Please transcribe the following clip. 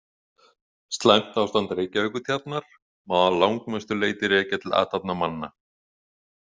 Slæmt ástand Reykjavíkurtjarnar má að langmestu leyti rekja til athafna manna.